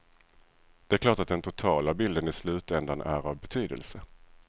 Det är klart att den totala bilden i slutändan är av betydelse.